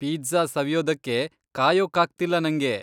Pizza ಸವಿಯೋದಕ್ಕೆ ಕಾಯೋಕ್ಕಾಗ್ತಿಲ್ಲ ನಂಗೆ.